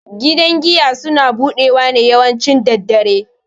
Gidan giya suna budewa ne yawanci daddare.